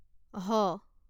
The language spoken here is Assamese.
হ